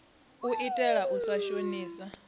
u itela u sa shonisa